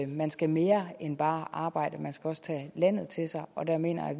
man skal mere end bare arbejde man skal også tage landet til sig og der mener jeg